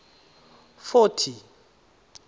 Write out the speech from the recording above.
forty